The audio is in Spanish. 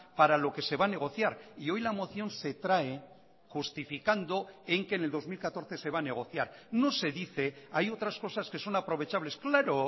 para lo que se va a negociar y hoy la moción se trae justificando en que en el dos mil catorce se va a negociar no se dice hay otras cosas que son aprovechables claro